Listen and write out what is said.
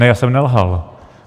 Ne, já jsem nelhal.